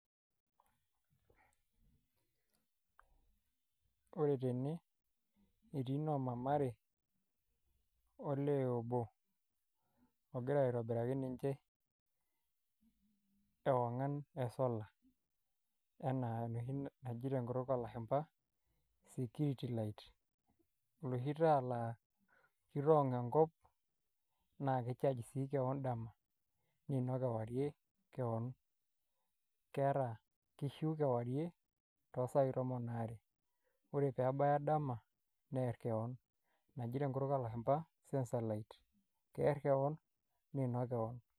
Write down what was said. Ore tene etii noo mama are olee obo ogira aitobiraki ninche ogira aitobiraki ninche ewong'an esolar enaa enoshi naji tenkutuk oolashumba security light oloshi taa laa kitoong' enkop naa kicharge sii keon dama niinok kewarie keon keeta kishu kewarie toosai tomon aare ore pee ebaya dama beer keon naji tenkutuk oolashumba sensor light kiinok keon neer keon.